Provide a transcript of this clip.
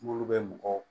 Minnu bɛ mɔgɔw